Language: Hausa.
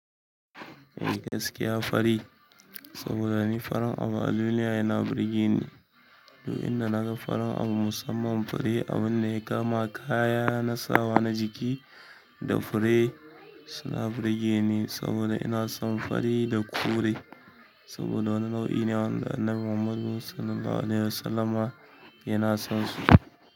Gaskiya fari saboda ni farin abu a duniya yana burge ni domin inda na ga farin abu musamman fari abun da ya kama kaya, na sawa na jiki da fure suna burge ni saboda ina son fari da kore saboda wani nau'i ne wanda Annabi Muhammad sallallahu alaihi wasallama yana son su.